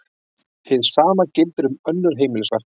Hið sama gildir um önnur heimilisverk.